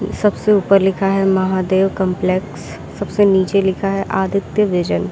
सबसे ऊपर लिखा है महादेव कॉम्प्लेक्स सबसे नीचे लिखा है आदित्य विजन ।